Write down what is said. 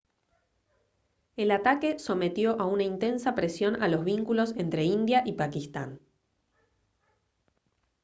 el ataque sometió a una intensa presión a los vínculos entre india y pakistán